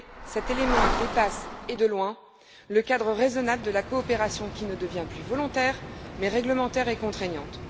Cet élément dépasse, et de loin, le cadre raisonnable de la coopération, qui ne devient plus volontaire, mais réglementaire et contraignante.